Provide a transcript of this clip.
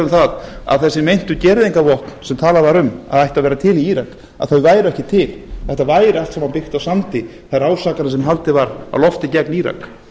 það að þessi meintu gereyðingarvopn sem talað var um að ættu að vera til í írak væru ekki til þetta væri allt saman byggt á sandi þessar ásakanir sem haldið var á lofti gegn írak